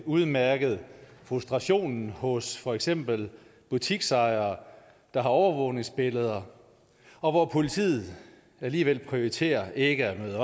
udmærket frustrationen hos for eksempel butiksejere der har overvågningsbilleder og hvor politiet alligevel prioriterer ikke at møde